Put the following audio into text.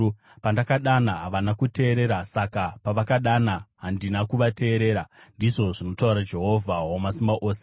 “ ‘Pandakadana, havana kuteerera; saka pavakadana, handina kuvateerera,’ ndizvo zvinotaura Jehovha Wamasimba Ose.